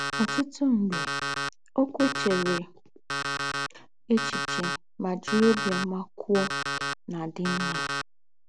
Ọ̀tútù m̀gbè, ókwú è chèrè échichè mà jìrì óbìọ́mà kwòó ná-àdí m̀mà.